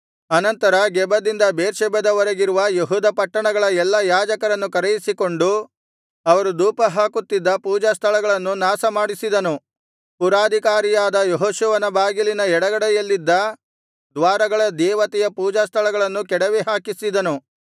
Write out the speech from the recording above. ಅನಂತರ ಗೆಬದಿಂದ ಬೇರ್ಷೆಬದವರೆಗಿರುವ ಯೆಹೂದ ಪಟ್ಟಣಗಳ ಎಲ್ಲಾ ಯಾಜಕರನ್ನು ಕರೆಯಿಸಿಕೊಂಡು ಅವರು ಧೂಪಹಾಕುತ್ತಿದ್ದ ಪೂಜಾಸ್ಥಳಗಳನ್ನು ನಾಶಮಾಡಿಸಿದನು ಪುರಾಧಿಕಾರಿಯಾದ ಯೆಹೋಶುವನ ಬಾಗಿಲಿನ ಎಡಗಡೆಯಲ್ಲಿದ್ದ ದ್ವಾರಗಳ ದೇವತೆಯ ಪೂಜಾಸ್ಥಳಗಳನ್ನು ಕೆಡವಿ ಹಾಕಿಸಿದನು